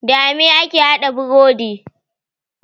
Dame ake haɗa burodi?